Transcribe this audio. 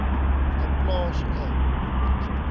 n plaas n